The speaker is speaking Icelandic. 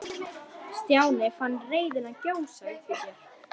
Stjáni fann reiðina gjósa upp í sér.